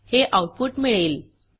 हे आऊटपुट मिळेल